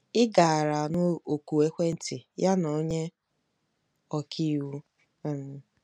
Ị gaara anụ oku ekwentị ya na onye ọka iwu! um